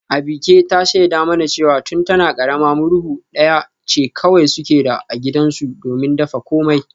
Abike ta shaida mana cewa tun tana karama murhu daya ce kawai suke da su a gidansu domin dafa komai